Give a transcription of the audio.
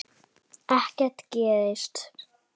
Ekkert gerist.